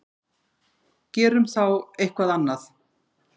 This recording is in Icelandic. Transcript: Gerum þá eitthvað annað.